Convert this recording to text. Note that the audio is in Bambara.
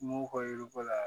M'u ka yiri ko la